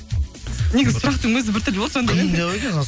негізі сұрақтың өзі біртүрлі болды жандаурен қиындау екен